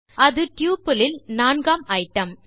அது டப்பிள் இல் நான்காம் ஐட்டம்